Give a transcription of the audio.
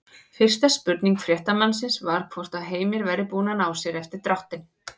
Fyrsta spurning fréttamannsins var hvort að Heimir væri búinn að ná sér eftir dráttinn?